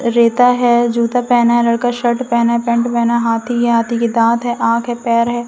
रेता है जूता पहना है लड़का शर्ट पहना है पैंट पहना है हाथी है हाथी के दांत है आंख है पैर है।